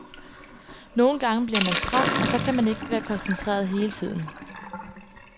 Nogle gange bliver man træt, og så kan man ikke være koncentreret hele tiden.